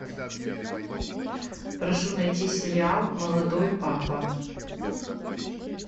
прошу найти сериал молодой папа